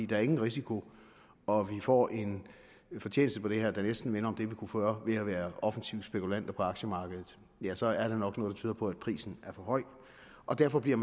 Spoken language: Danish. der er ingen risiko og man får en fortjeneste på det her der næsten minder om den man kunne få ved at være offensive spekulanter på aktiemarkedet ja så er der nok noget der tyder på at prisen er for høj og derfor bliver